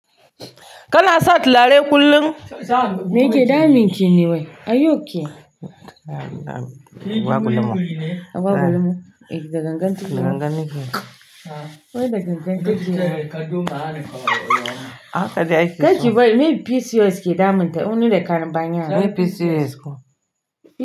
Kana sa tulare kullum? Me yake damunki ne wai? Are you okay? Ba gulama. Ba gulama. Eh yanzu da gangan kike? Gangan nake. Wai da gangan duk jiya? Haka dai ake so. Gaskiya wai me PCOS ke damun ta? O ni da ƙarin bani ya. Meye PCOS kuwa?